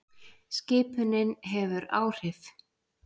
Skipunin hefur áhrif.